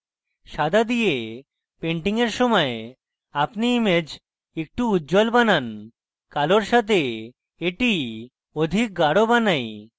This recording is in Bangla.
সাদা দিয়ে painting এর সময় আপনি image একটু উজ্জ্বল বানান কালোর সাথে এটি অধিক গাঢ় বানাই